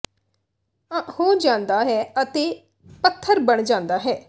ਾ ਹੋ ਜਾਂਦਾ ਹੈ ਅਤੇ ਪੱਥਰ ਬਣ ਜਾਂਦਾ ਹੈ